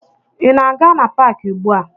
Ị na-aga na paakị ugbua?